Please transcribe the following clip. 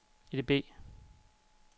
EDB